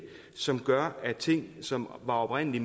som gør at ting som oprindelig